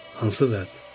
"Hansı vəd?